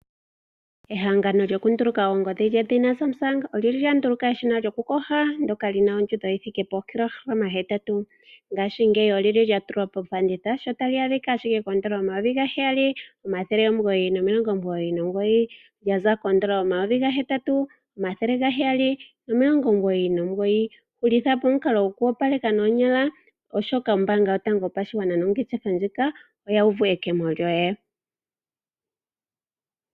Ehangano lyokunduluka oongodhi lyedhina Samsung olya nduluka eshina lyokuyoga ndyoka li na ondjundo yookilohalama hetatu (8 kg). Ngaashingeyi olya tulwa kofanditha, sho tali adhika ashike koN$ 7 999, lya za koN$8 799. Hulitha po omukalo gokuyoga noonyala, oshoka ombaanga yotango yopashigwana nongeshefa ndjika oya uvu ekemo lyoye.